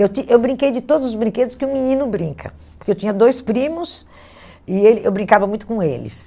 Eu eu brinquei de todos os brinquedos que um menino brinca, porque eu tinha dois primos e ele eu brincava muito com eles.